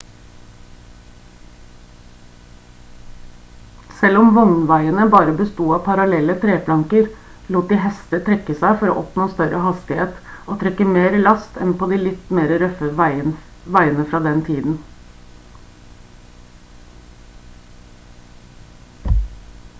selv om vognveiene bare besto av parallelle treplanker lot de hester trekke seg for å oppnå større hastigheter og trekke mer last enn på de litt mer røffe veiene fra den tiden